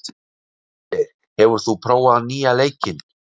Úlfgeir, hefur þú prófað nýja leikinn?